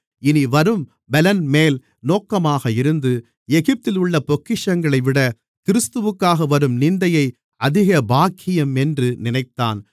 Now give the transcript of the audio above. இனிவரும் பலன்மேல் நோக்கமாக இருந்து எகிப்தில் உள்ள பொக்கிஷங்களைவிட கிறிஸ்துவுக்காக வரும் நிந்தையை அதிக பாக்கியம் என்று நினைத்தான்